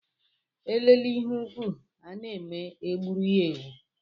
Elebe ihe ukwù na-eme e gbuoro ya ewu.